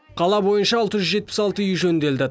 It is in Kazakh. қала бойынша алты жүз жетпіс алты үй жөнделді